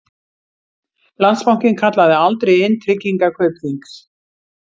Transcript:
Landsbankinn kallaði aldrei inn tryggingar Kaupþings